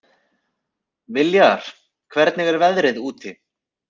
Viljar, hvernig er veðrið úti?